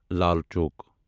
Lal Chowk